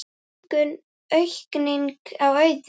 Auðgun: aukning á auði?